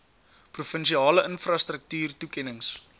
provinsiale infrastruktuur toekennings